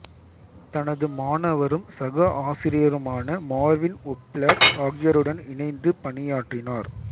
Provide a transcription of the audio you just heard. தனது மாணவரும் சக ஆசிரியருமான மார்வின் ஒப்ளர் ஆகியோருடன் இணைந்து பணியாற்றினார்